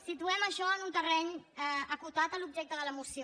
situem això en un terreny acotat a l’objecte de la moció